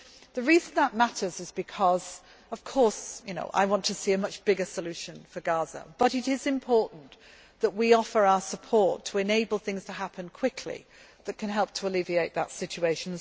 to roll. The reason that matters is because, although of course I want to see a much bigger solution for Gaza, it is important that we offer our support to enable things to happen quickly that can help to alleviate that situation.